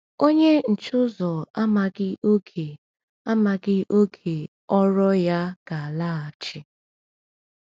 Onye nche ụzọ amaghị oge amaghị oge ọ̀rụ̀ọ̀ ya ga-alaghachi.